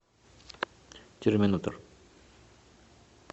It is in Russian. терминатор